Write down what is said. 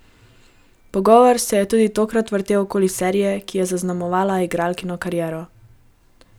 Pogovor se je tudi tokrat vrtel okoli serije, ki je zaznamovala igralkino kariero.